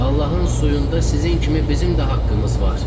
Allahın suyunda sizin kimi bizim də haqqımız var.